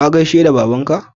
Ka gaishe baban ka?